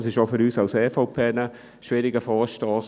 Es ist auch für uns von der EVP ein schwieriger Vorstoss.